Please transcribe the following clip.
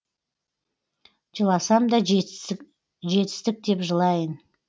жыласам да жетістік деп жылайын